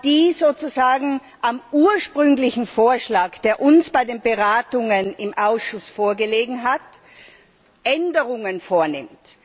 das sozusagen am ursprünglichen Vorschlag, der uns bei den Beratungen im Ausschuss vorgelegen hat, Änderungen vornimmt.